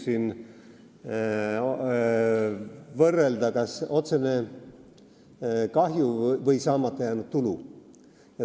Võib võrrelda, kas on otsene kahju või saamata jäänud tulu.